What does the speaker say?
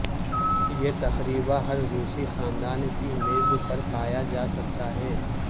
یہ تقریبا ہر روسی خاندان کی میز پر پایا جا سکتا ہے